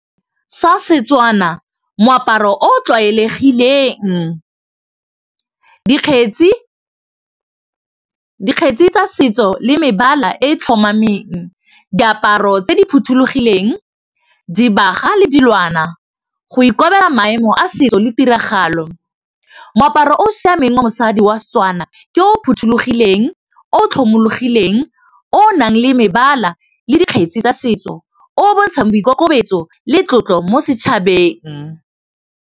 Sa Setswana moaparo o o tlwaelegileng dikgetsi tsa setso le mebala e tlhomameng diaparo tse di phothulogileng dibaga le dilwana go ikobela maemo a setso le tiragalo moaparo o o siameng wa mosadi wa Setswana ke o phothulogileng, o tlhomologileng, o nang le mebala, le dikgetsi tsa setso, o bontshang boikokobetso le tlotlo mo setšhabeng.